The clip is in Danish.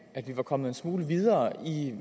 at vi kom en smule videre i